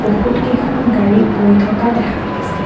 বহুত কেইখন গাড়ী গৈ থকা দেখা গৈছে।